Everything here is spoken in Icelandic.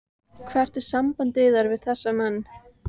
Hvert er samband yðar við þessa menn?